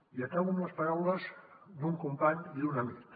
i acabo amb les paraules d’un company i d’un amic